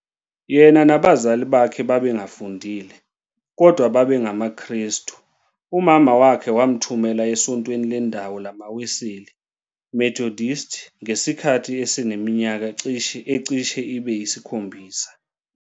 Yena nabazali bakhe babengafundile, kodwa babengamaKrestu, umama wakhe wamthumela esontweni lendawo lamaWeseli, Methodist, ngesikhathi eseneminyaka ecishe ibe yisikhombisa.